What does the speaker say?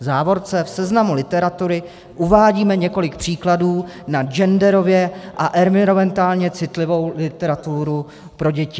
V závorce - v seznamu literatury uvádíme několik příkladů na genderově a environmentálně citlivou literaturu pro děti.